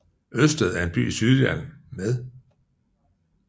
Ødsted er en by i Sydjylland med